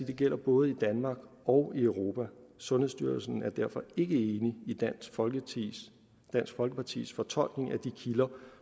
det gælder både danmark og i europa sundhedsstyrelsen er derfor ikke enig i dansk folkepartis dansk folkepartis fortolkning af de kilder